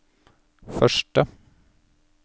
første